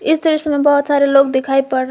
इस दृश्य में बहोत सारे लोग दिखायी पड़ रहे--